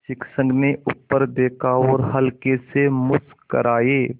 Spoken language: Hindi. शिक्षक ने ऊपर देखा और हल्के से मुस्कराये